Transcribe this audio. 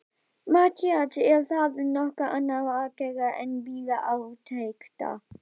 MATTHÍAS: Er þá nokkuð annað að gera en bíða átekta.